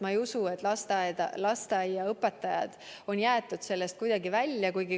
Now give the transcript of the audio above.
Ma ei usu, et lasteaiaõpetajad on kuidagi välja jäetud.